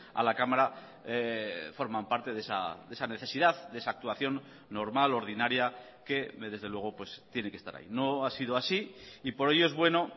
a la cámara forman parte de esa necesidad de esa actuación normal ordinaria que desde luego tiene que estar ahí no ha sido así y por ello es bueno